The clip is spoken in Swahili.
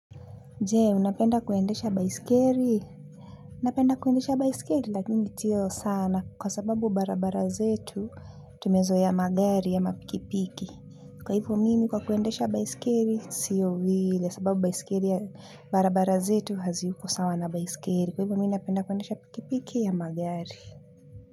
Je, unapenda kuendesha baisikeli? Napenda kuendesha baisikeli, lakini siyo sana, kwa sababu barabara zetu, tumezoea magari ama pikipiki. Kwa hivo mimi kwa kuendesha baiskeli sio vile sababu baiskeli barabara zetu haziko sawa na baiskeli kwa hivyo mimi napenda kuendesha pikipiki ama magari.